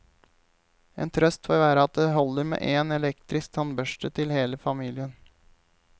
En trøst får være at det holder med én elektrisk tannbørste til hele familien.